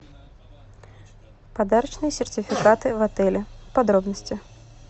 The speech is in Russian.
подарочные сертификаты в отеле подробности